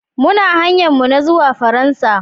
Muna hanyar mu ta zuwa Faransa.